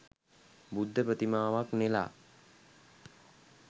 බුද්ධ ප්‍රතිමාවක් නෙලා